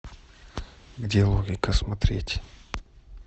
где логика смотреть